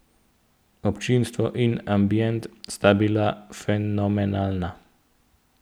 Občinstvo in ambient sta bila fenomenalna.